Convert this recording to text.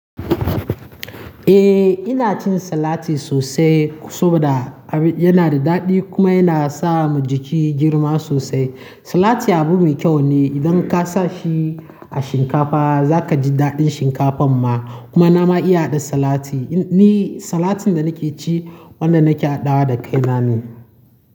Eh ina cin salati sosai saboda yana da daɗi kuma yana sa mu jiki girma sosai. Salati abu mai kyau ne, idan ka sa shi a shinkafa za ka ji daɗin shinkafan ma. Kuma na ma iya haɗa salati. Ni salatin da nake ci wanda nake haɗawa da kai na ne.